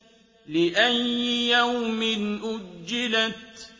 لِأَيِّ يَوْمٍ أُجِّلَتْ